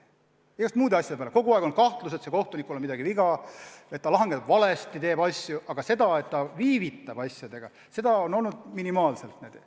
Igasuguste muude asjade peale on kaevatud, on olnud kahtlusi, et sellel või teisel kohtunikul on midagi viga, et ta lahendab asju valesti, aga kurtmist, et keegi viivitab asjadega, on olnud minimaalselt.